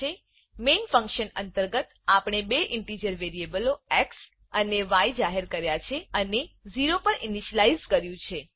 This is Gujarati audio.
મેઇન ફંકશન મેઈન ફંક્શન અંતર્ગત આપણે બે ઈંટીજર વેરીએબલો એક્સ અને ય જાહેર કર્યા છે અને 0 પર ઈનીશલાઈઝ કર્યું છે